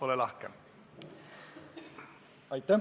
Ole lahke!